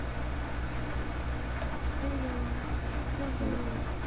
Hello কি খবর?